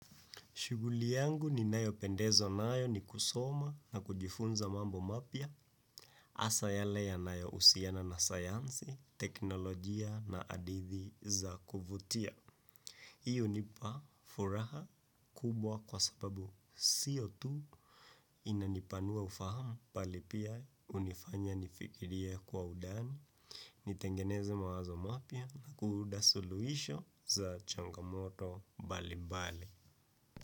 Shughuli yangu ninayopendezwa nayo ni kusoma na kujifunza mambo mapya hasa yale yanayo husiana na sayansi, teknolojia na hadithi za kuvutia. Hii hunipa furaha kubwa kwa sababu sio tu inanipanua ufahamu bali pia hunifanya nifikirie kwa undani. Nitengeneze mawazo mapya kuunda suluisho za changamoto mbalimbali.